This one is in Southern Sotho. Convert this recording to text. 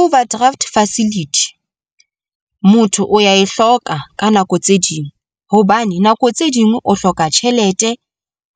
Overdraft facility, motho o ya e hloka ka nako tse ding hobane nako tse ding o hloka tjhelete